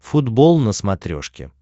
футбол на смотрешке